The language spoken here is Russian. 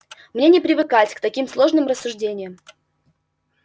мне не привыкать к таким сложным рассуждениям